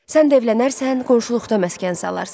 Sən də evlənərsən, qonşuluqda məskən salarsan.